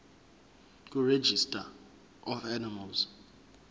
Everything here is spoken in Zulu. kuregistrar of animals